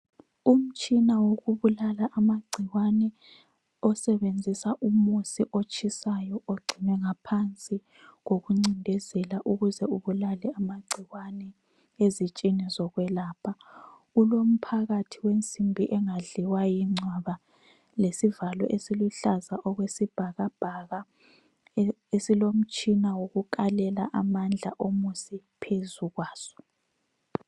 Umtshina wokubulala amagcikwane osebenzisa umusi otshisayo ogcine ngaphansi kokuncindezela ukuze ubulale amagcikwane ezitsheni zokwelapha. Kulomphakathi wensimbi engadliwa yingcwaba lesivalo esiluhlaza esiyibhakabhaka esilomtshina wokukalela amandla omusi phezu kwaso.